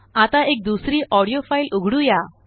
आता एकदुसरी audio file उघडुया